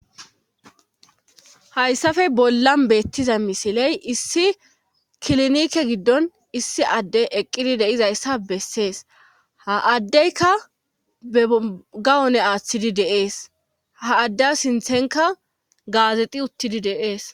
hayssafe bollan beettiza misiley issi kilnike giddon issi adde eqqidi deizayssa bessees ha addeyka begawone aaththidi deees ha adde sinthenka gaazeti uttidi deees